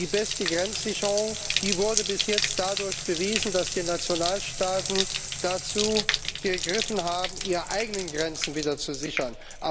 Die beste Grenzsicherung wurde bis jetzt dadurch bewiesen, dass die Nationalstaaten dazu gegriffen haben, ihre eigenen Grenzen wieder zu sichern.